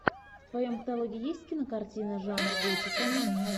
в твоем каталоге есть кинокартина жанр готика